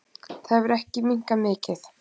Það hefur ekki minnkað mikið.